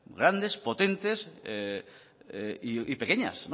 grandes potentes y pequeñas